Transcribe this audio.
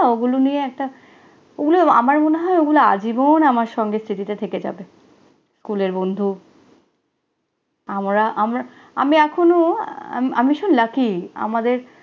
ওগুলো নিয়ে একটা, ওগুলো আমার মনে হয় আজীবন আমার সঙ্গে স্মৃতিতে থেকে যাবে। স্কুলের বন্ধু আমরা আমরা আমি এখনো, আমি ভীষণ lucky আমাদের